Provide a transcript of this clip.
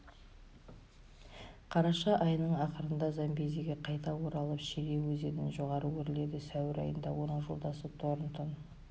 қараша айының ақырында замбезиге қайта оралып шире өзенін жоғары өрледі сәуір айында оның жолдасы торнтон